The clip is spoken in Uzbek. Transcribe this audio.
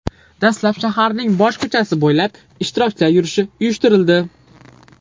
Dastlab shaharning bosh ko‘chasi bo‘ylab ishtirokchilar yurishi uyushtirildi.